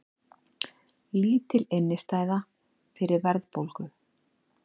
Lítil innistæða fyrir verðbólgu